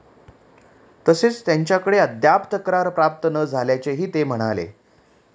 तसेच त्यांच्याकडे अद्याप तक्रार प्राप्त न झाल्याचेही ते म्हणाले.